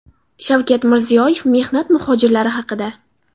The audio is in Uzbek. Shavkat Mirziyoyev mehnat muhojirlari haqida.